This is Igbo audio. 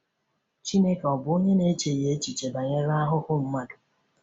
Chineke ọ̀ bụ onye na-echeghị echiche banyere ahụhụ mmadụ?